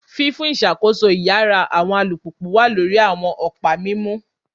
Fifun iṣakoso iyara awọn alupupu wa lori awọn ọpa mimu,